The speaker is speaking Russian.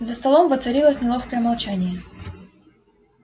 за столом воцарилось неловкое молчание